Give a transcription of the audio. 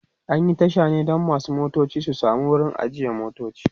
an Yi Tasha ne Dan masu motoci su samu wurin ajiye motoci